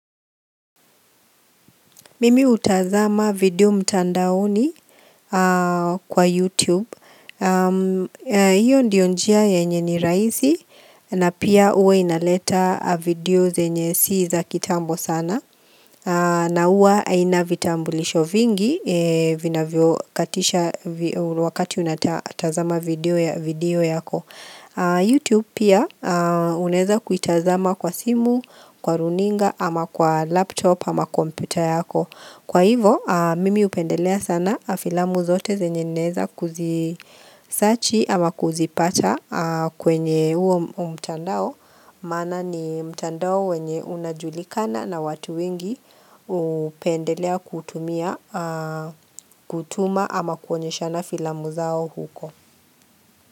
Mimi hutazama video mtandaoni kwa YouTube Iyo ndiyo njia yenye ni rahisi na pia huwa inaleta videos yenye si za kitambo sana na huwa haina vitambulisho vingi Vinavyokatisha wakati unatazama video yako YouTube pia unaeza kuitazama kwa simu, kwa runinga, ama kwa laptop, ama computer yako Kwa hivo, mimi hupendelea sana filamu zote zenye naeza kuzisachi ama kuzipata kwenye huo mtandao, maana ni mtandao wenye unajulikana na watu wingi hupendelea kutumia, kutuma ama kuonyeshana filamu zao huko.